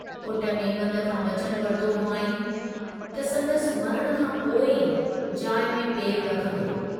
पुट नेवंद खां वचन वरतो हुआईं त संदसि मरण खां पोइ ई जाइ में पेरु रखंदो।